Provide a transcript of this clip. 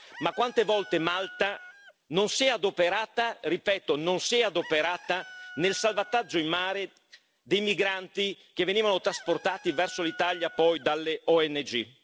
Ma quante volte Malta non si è adoperata, ripeto, non si è adoperata nel salvataggio in mare dei migranti, che venivano trasportati verso l'Italia poi dalle ONG?